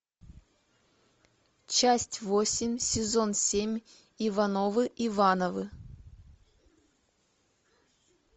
часть восемь сезон семь ивановы ивановы